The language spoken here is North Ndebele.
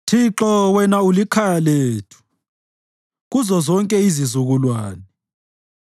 Thixo, wena ulikhaya lethu kuzozonke izizukulwane.